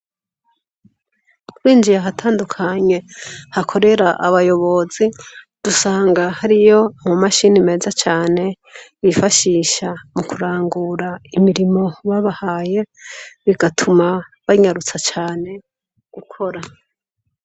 Winjiye ahatandukanye hakorera abayobozi dusanga hariyo amamashini meza cane bifashisha mu kurangura imirimo babahaye bigatuma banyarutsa cane gukora.